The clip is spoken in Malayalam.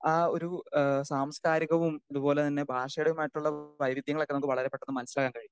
സ്പീക്കർ 2 ആ ഒരു സാംസ്കാരികവും അതുപോലെതന്നെ ഭാഷാപരമായിട്ടുള്ള വൈവിധ്യങ്ങളൊക്കെ നമുക്ക് വളരെ പെട്ടെന്ന് മനസ്സിലാക്കാൻ കഴിയും.